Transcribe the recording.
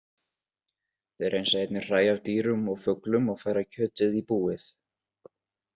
Þeir hreinsa einnig hræ af dýrum og fuglum og færa kjötið í búið.